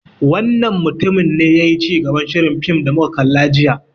Wannan mutumin ne yayi cigaban shirin fim da muka kalla jiya.